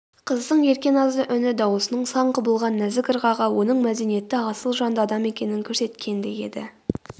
қыздың ерке назды үні дауысының сан құбылған нәзік ырғағы оның мәдениетті асыл жанды адам екенін көрсеткендей еді